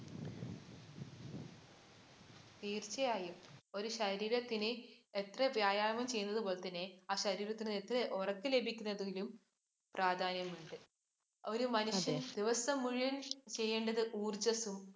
തീര്‍ച്ചയായും. ഒരു ശരീരത്തിന് എത്ര വ്യായാമം ചെയ്യുന്ന പോലെ തന്നെ ആ ശരീരത്തിന് എത്ര ഉറക്കം ലഭിക്കുന്നതിനും പ്രാധാന്യമുണ്ട്. ഒരു മനുഷ്യന്‍ ദിവസം മുഴുവന്‍ ചെയ്യേണ്ടത് ഊര്‍ജ്ജസ്സും,